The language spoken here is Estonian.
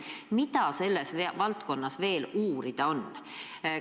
Mida selles valdkonnas veel uurida on?